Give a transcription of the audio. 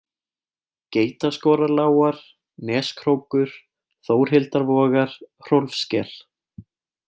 Geitaskorarlágar, Neskrókur, Þórhildarvogar, Hrólfssker